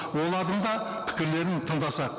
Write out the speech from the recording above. олардың да пікірлерін тыңдасақ